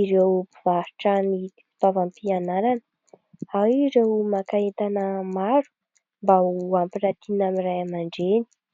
ireo mpivarotra ny fitaovam-pianarana. Ao ireo maka entana maro mba ho ampiratiana amin'ny ray aman-dreny.